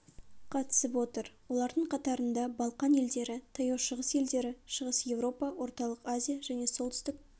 қатысып отыр олардың қатарында балқан елдері таяу шығыс елдері шығыс еуропа орталық азия және солтүстік